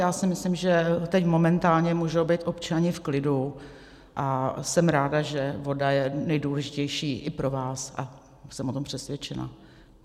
Já si myslím, že teď momentálně můžou být občané v klidu, a jsem ráda, že voda je nejdůležitější i pro vás, a jsem o tom přesvědčena.